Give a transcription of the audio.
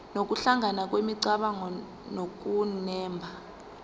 nokuhlangana kwemicabango nokunemba